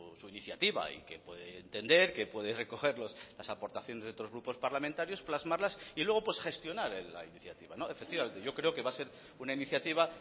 su iniciativa y que puede entender que puede recoger las aportaciones de otros grupos parlamentarios plasmarlas y luego gestionar la iniciativa efectivamente yo creo que va a ser una iniciativa